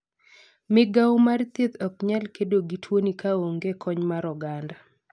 Migawo mar thieth ok nyal kedo gi tuoni ka onge kony mar oganda.